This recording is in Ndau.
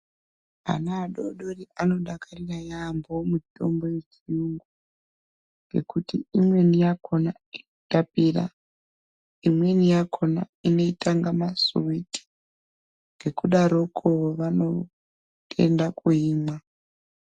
Ana adodori anodakarira yaampho mutombo yechiyungu, ngekuti imweni yakhona inotapira, imweni yakhona inoita inga masuwiti. Ngekudaroko vanotenda kuimwa.